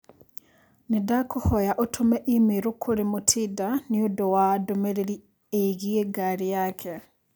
Nĩndakũhoya ũtũme i-mīrū kũrĩ Mutinda nĩũndũ wa ndũmĩrĩri ĩgiĩ ngari yake.